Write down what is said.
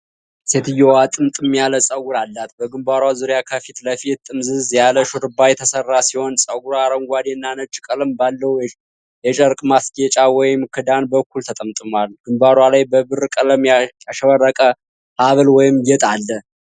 ሴትየዋ ጥምጥም ያለ ጸጉር አላት፣ በግንባሯ ዙሪያ ከፊት ለፊት ጥምዝዝ ያለ ሽሩባ የተሠራ ሲሆን፣ ጸጉሯ አረንጓዴና ነጭ ቀለም ባለው የጨርቅ ማጌጫ ወይም ክዳን በኩል ተጠምጥሟል። ግንባሯ ላይ በብር ቀለም ያሸበረቀ ሀብል ወይም ጌጥ አለ።